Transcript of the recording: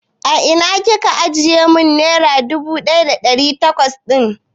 A ina Kika ajiye mun nera dubu ɗaya da ɗari bakwai dina?